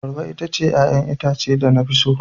Abarba ita ce 'ya'yan itace da na fi so.